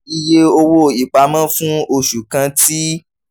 iye owó ìpamọ́ fún oṣù kan ti